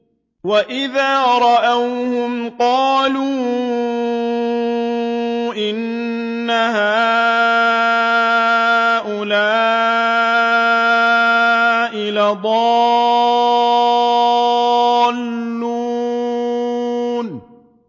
وَإِذَا رَأَوْهُمْ قَالُوا إِنَّ هَٰؤُلَاءِ لَضَالُّونَ